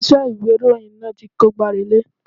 Ilé iṣẹ́ ìwé ìròyìn náà ti kó gbá relé.